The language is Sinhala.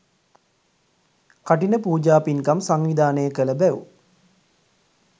කඨින පූජා පින්කම් සංවිධානය කළ බැව්